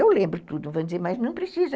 Eu lembro tudo, vamos dizer, mas não precisa.